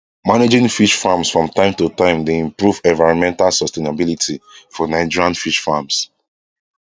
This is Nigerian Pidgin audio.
managing fish farms from time to time dey improve environmental sustainability for nigerian fish farms